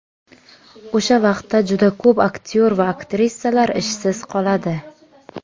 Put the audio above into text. O‘sha vaqtda juda ko‘p aktyor va aktrisalar ishsiz qoladi.